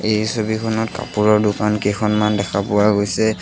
এই ছবিখনত কাপোৰৰ দোকান কেইখনমান দেখা পোৱা গৈছে।